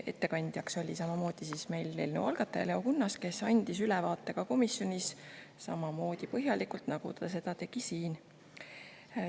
Ettekandjaks oli samamoodi eelnõu algataja Leo Kunnas, kes andis ka komisjonis sama põhjaliku ülevaate, nagu ta seda tegi siin.